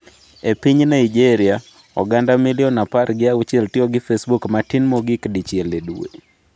E piny Naijeria, oganda milion apargi auchiel tiyo gi Facebook matin mogik dichiel e dwe.